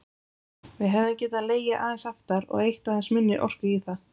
Við hefðum getað legið aðeins aftar og eytt aðeins minni orku í það.